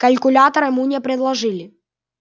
калькулятор ему не предложили